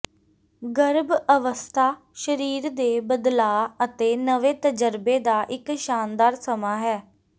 ਗਰੱਭ ਅਵਸੱਥਾ ਸਰੀਰ ਦੇ ਬਦਲਾਅ ਅਤੇ ਨਵੇਂ ਤਜਰਬੇ ਦਾ ਇੱਕ ਸ਼ਾਨਦਾਰ ਸਮਾਂ ਹੈ